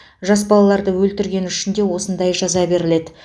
жас балаларды өлтіргені үшін де осындай жаза беріледі